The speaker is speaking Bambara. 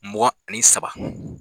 Mugan ani saba